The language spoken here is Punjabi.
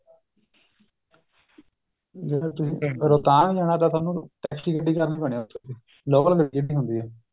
ਜਿਹੜਾ ਤੁਸੀਂ ਰੋਤਾੰਗ ਏ ਤਾ ਤੁਹਨੂੰ special ਗੱਡੀ ਕਰਨੀ ਪੈਣੀ ਏ local ਗੱਡੀ ਹੁੰਦੀ ਏ